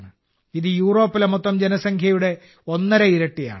ഇത് യൂറോപ്പിലെ മൊത്തം ജനസംഖ്യയുടെ ഒന്നര ഇരട്ടിയാണ്